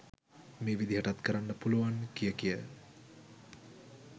මේ විදිහටත් කරන්න පුළුවන් කිය කිය